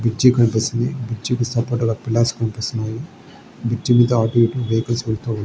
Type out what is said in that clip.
Bridge కనిపిస్తుంది. Bridge కీ support గా పిల్లర్స్ కనిపిస్తున్నాయి. బ్రిడ్జి మీద అట్లు ఇట్లు వెహికల్స్ ]